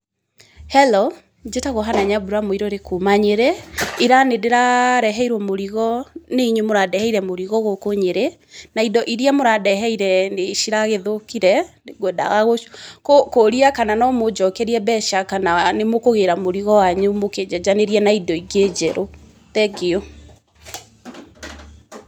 Hello Njĩtagwo Hannah Nyambura Muiruri kuuma Nyerĩ, ira nĩ ndĩrareheirwo mũrigo nĩ inyuĩ mũrandeheire mũrigo gũkũ Nyerĩ, na indo irĩa mũrandeheire nĩ ciragĩthũkire, ngũendaga kũũria kana no mũnjokerie mbeca, kana nĩ mũkũgira mũrigo wanyu mũkĩnjenjanĩrie na indo ingĩ njerũ, thengiũ.